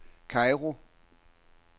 Kairo